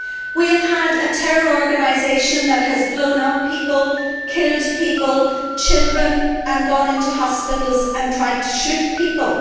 We have had a terror organisation that has blown up people, killed people, including children, and gone into hospitals and tried to shoot people.